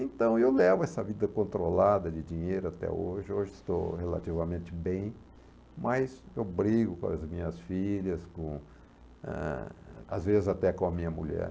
Então, eu levo essa vida controlada de dinheiro até hoje, hoje estou relativamente bem, mas eu brigo com as minhas filhas, ah, às vezes até com a minha mulher.